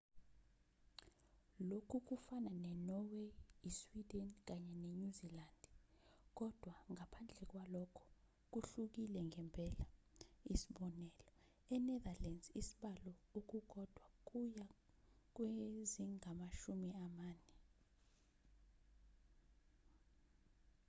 lokhu kufana ne-norway i-sweden kanye nenyuzilandi kodwa ngaphandle kwalokho kuhlukile ngempela isib. e-netherlands isibalo okukodwa kuya kwezingamashumi amane